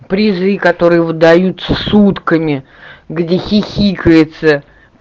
призы которые выдаются сутками где хихикается